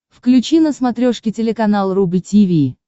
включи на смотрешке телеканал рубль ти ви